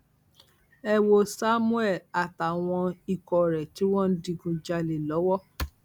ẹ wo samuel àtàwọn ikọ rẹ tí wọn ń digunjalè lọwọ